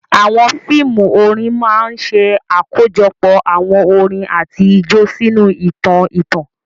Àwọn fíìmù orin máa ń ṣe àkójọpọ̀ àwọn orin àti ijó sínú ìtàn ìtàn.